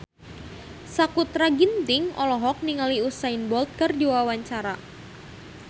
Sakutra Ginting olohok ningali Usain Bolt keur diwawancara